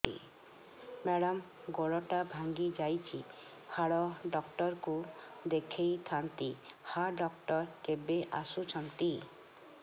madam ଗୋଡ ଟା ଭାଙ୍ଗି ଯାଇଛି ହାଡ ଡକ୍ଟର ଙ୍କୁ ଦେଖାଇ ଥାଆନ୍ତି ହାଡ ଡକ୍ଟର କେବେ ଆସୁଛନ୍ତି